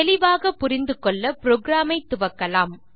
தெளிவாக புரிந்து கொள்ள புரோகிராம் ஐ துவக்கலாம்